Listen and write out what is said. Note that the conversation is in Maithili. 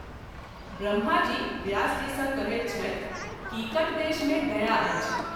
ब्रह्माजी व्यासजी सँ कहैत छथि कीकट देश मे गया अछि।